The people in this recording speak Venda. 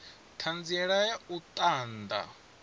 ṱhanziela ya u ṱun ḓa